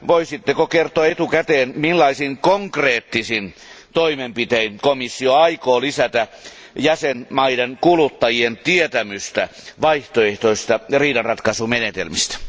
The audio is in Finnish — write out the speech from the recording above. Voisitteko kertoa etukäteen, millaisin konkreettisin toimenpitein komissio aikoo lisätä jäsenvaltioiden kuluttajien tietämystä vaihtoehtoisista riidanratkaisumenetelmistä?